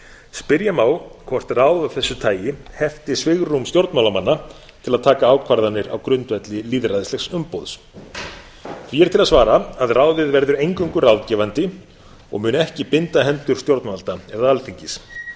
spyrja má hvort ráð af þessu tagi henti svigrúm stjórnmálamanna til að taka ákvarðanir á grundvelli lýðræðislegs umboðs því er til að svara að ráðið verður eingöngu ráðgefandi og mun ekki binda hendur stjórnvalda eða alþingis þá